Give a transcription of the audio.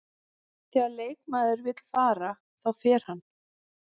Þegar leikmaður vill fara, þá fer hann.